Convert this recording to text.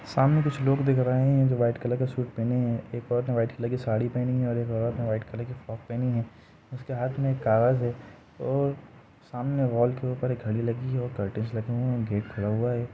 सामने कुछ लोग दिख रहे है जो वाइट कलर का सूट पहने है। एक औरत ने वाइट कलर की साड़ी पहनी है और एक औरत ने वाइट कलर की फ्रॉक पहनी है। उसके हाथ में एक कागज है और सामने वाल के ऊपर एक घड़ी लगी हुई है। कर्टन्स लगे है और गेट खुला है।